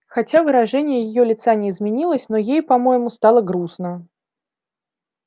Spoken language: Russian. хотя выражение её лица не изменилось но ей по-моему стало грустно